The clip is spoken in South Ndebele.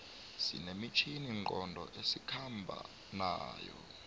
sine mitjhini nqondo esikhomba nayo